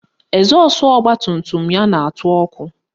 Ezọsụ ọgbatumtum ya na-atụ ọkụ